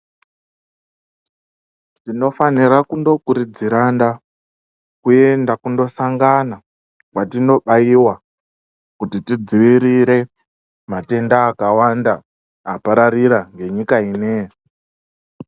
Tinofanira kundokurudziranda kuenda kundosangana kwatinobayiwa kuti tidzivirire matenda akawanda apararira ngenyika yinoyi.